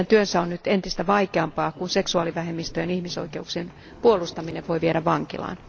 Heidän työnsä on nyt entistä vaikeampaa, kun seksuaalivähemmistöjen ihmisoikeuksien puolustaminen voi viedä vankilaan.